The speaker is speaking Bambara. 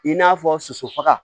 I n'a fɔ sososofaga